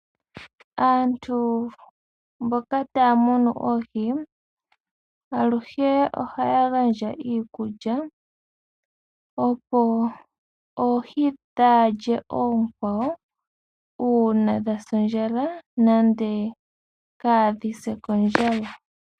Aantu mboka taya munu oohi aluhe ohaya gandja iikulya, opo oohi kadhi lye oonkwawo uuna dhasa oondjala nenge kadhi se kondjala.